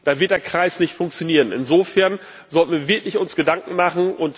Dann wird der Kreis nicht funktionieren. Insofern sollten wir uns wirklich Gedanken machen.